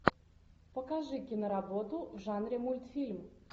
покажи киноработу в жанре мультфильм